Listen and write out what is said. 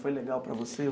Foi legal para você?